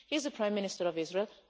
He is the Prime Minister of Israel.